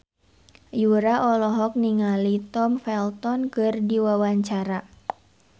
Yura olohok ningali Tom Felton keur diwawancara